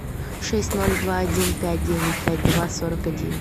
шесть ноль два один пять девять пять два сорок один